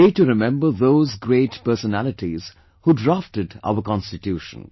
A day to remember those great personalities who drafted our Constitution